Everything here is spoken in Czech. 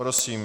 Prosím.